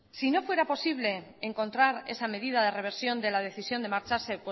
si no fuera posible encontrar esa medida de reversión de la decisión de marcharse